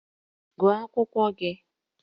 Gụọ akwụkwọ gị!